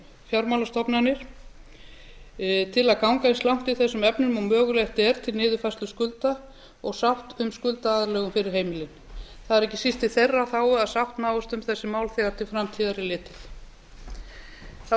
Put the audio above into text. fjármálastofnanir eindregið til að ganga eins langt í þessum efnum og mögulegt er til niðurfærslu skulda og samt sem skuldaaðlögun fyrir heimilin það er ekki síst í þeirra þágu að sátt náist um þessi mál þegar til framtíðar er litið þá